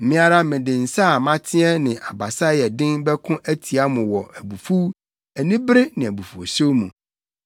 Me ara mede nsa a mateɛ ne abasa a ɛyɛ den bɛko atia mo wɔ abufuw, anibere ne abufuwhyew mu.